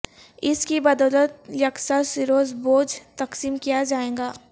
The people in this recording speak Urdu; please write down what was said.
اس کی بدولت یکساں سروس بوجھ تقسیم کیا جائے گا